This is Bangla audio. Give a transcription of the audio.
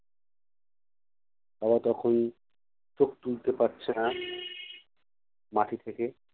বাবা তখন চোখ তুলতে পারছে না মাটি থেকে